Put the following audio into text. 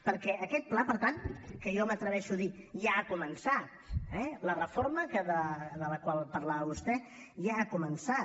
perquè aquest pla per tant que jo m’atreveixo a dir ja ha començat eh la reforma de la qual parlava vostè ja ha començat